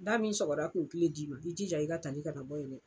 Da min sɔgɔra ko kile d'i ma i jija i ka tali kana bɔ yen dɛ.